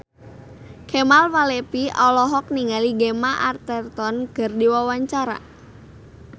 Kemal Palevi olohok ningali Gemma Arterton keur diwawancara